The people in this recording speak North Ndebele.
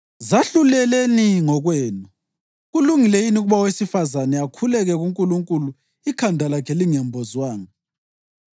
Zahluleleni ngokwenu: Kulungile yini ukuba owesifazane akhuleke kuNkulunkulu ikhanda lakhe lingembozwanga?